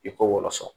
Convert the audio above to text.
I k'o wɔsɔn